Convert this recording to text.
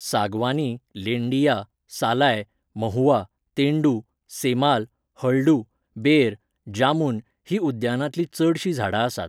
सागवानी, लेंडिया, सालाय, महुआ, तेंडू, सेमाल, हळडू, बेर, जामुन हीं उद्यानांतलीं चडशीं झाडां आसात.